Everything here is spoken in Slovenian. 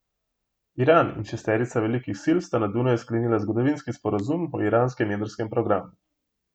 Iran in šesterica velikih sil sta na Dunaju sklenila zgodovinski sporazum o iranskem jedrskem programu.